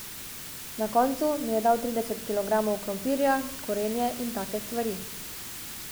Na koncu mi je dal trideset kilogramov krompirja, korenje in take stvari.